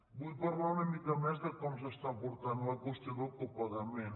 vull parlar una mica més de com es porta la qüestió del copagament